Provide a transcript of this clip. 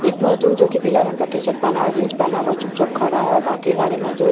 एक मजदूर जो कि पीला रंग का टी शर्ट पहना और जींस पहना हुआ वो चुपचाप खड़ा है और बाकी सारे मजदूर टॉली --